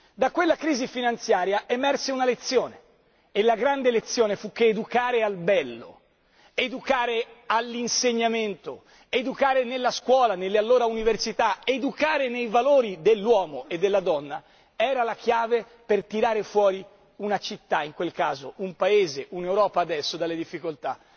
Da quella crisi finanziaria si trasse una lezione e la grande lezione fu che educare al bello, educare all'insegnamento, educare nella scuola, nelle allora università, educare ai valori dell'uomo e della donna, era la chiave per tirare fuori una città in quel caso un Paese, un'Europa adesso dalle difficoltà.